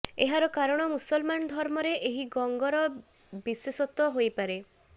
ଏହାର କାରଣ ମୁମଲମାନ ଧର୍ମରେ ଏହି ଗଙ୍ଗର ବିଶେଷତ୍ୱ ହେଇପାରେ